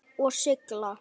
Og sigla?